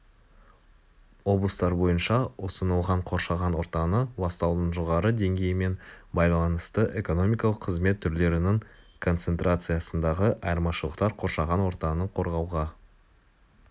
облыстар бойынша ұсынылған қоршаған ортаны ластаудың жоғары деңгейімен байланысты экономикалық қызмет түрлерінің концентрациясындағы айырмашылықтар қоршаған ортаны қорғауға